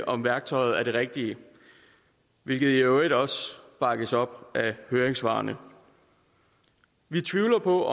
om værktøjet er det rigtige hvilket i øvrigt bakkes op af høringssvarene vi tvivler nu på at